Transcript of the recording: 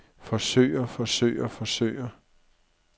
forsøger forsøger forsøger